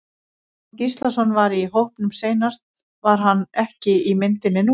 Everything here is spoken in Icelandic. Stefán Gíslason var í hópnum seinast var hann ekki í myndinni núna?